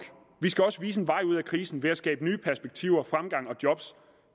vi skal også vise en vej ud af krisen ved at skabe nye perspektiver fremgang og job